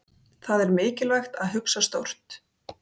Það er mikilvægt að hugsa stórt.